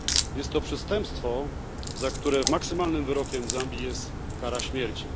Jest to przestępstwo, za które maksymalnym wyrokiem w Zambii jest kara śmierci.